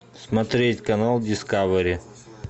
смотреть канал дискавери